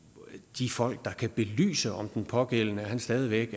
de folk der kan belyse om den pågældende stadig væk